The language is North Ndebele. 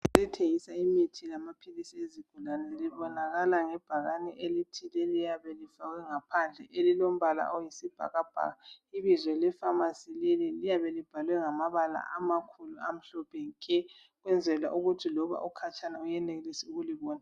Ethengisa imithi yamaphilisi ezigulane ibonakala ngebhakane elithile eliyabe lifakwe ngaphandle elilombala oyisibhakabhaka. Ibizo lefamasi leli liyabe libhalwe ngamabala amakhulu amhlophe nke ukwenzela ukuthi loba ukhatshana uyenelise ukulibona.